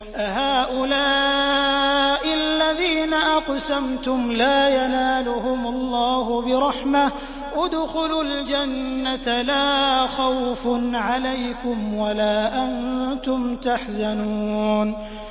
أَهَٰؤُلَاءِ الَّذِينَ أَقْسَمْتُمْ لَا يَنَالُهُمُ اللَّهُ بِرَحْمَةٍ ۚ ادْخُلُوا الْجَنَّةَ لَا خَوْفٌ عَلَيْكُمْ وَلَا أَنتُمْ تَحْزَنُونَ